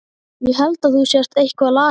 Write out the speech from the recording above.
Ég held þú sért eitthvað lasinn.